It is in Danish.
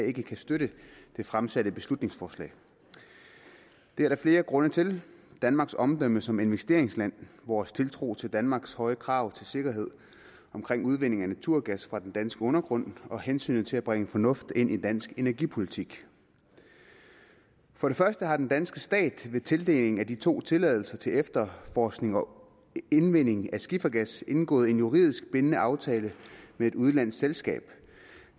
ikke kan støtte det fremsatte beslutningsforslag det er der flere grunde til danmarks omdømme som investeringsland vores tiltro til danmarks høje krav til sikkerhed omkring udvinding af naturgas fra den danske undergrund og hensynet til at bringe fornuft ind i dansk energipolitik for det første har den danske stat ved tildeling af de to tilladelser til efterforskning og indvinding af skifergas indgået en juridisk bindende aftale med et udenlandsk selskab